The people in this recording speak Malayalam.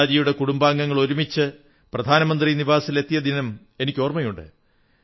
നേതാജിയുടെ കുടുംബാഗങ്ങൾ ഒരുമിച്ച് പ്രധാനമന്ത്രി നിവാസിൽ എത്തിയ ദിനം എനിക്കോർമ്മയുണ്ട്